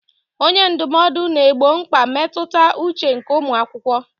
Onye ndụmọdụ na-egbo mkpa mmetụta uche nke ụmụ akwụkwọ.